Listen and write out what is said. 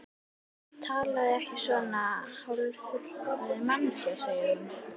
Talaðu ekki svona, hálffullorðin manneskjan, segir hún.